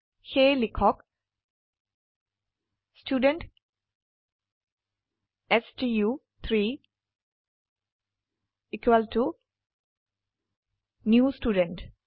সেয়ে লিখক ষ্টুডেণ্ট ষ্টু3 নিউ ষ্টুডেণ্ট